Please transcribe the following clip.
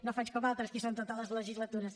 no faig com altres que són a totes les legislatures